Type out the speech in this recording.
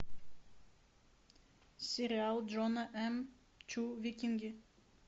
сериал джона м чу викинги